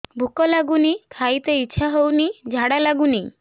ଭୁକ ଲାଗୁନି ଖାଇତେ ଇଛା ହଉନି ଝାଡ଼ା ଲାଗୁନି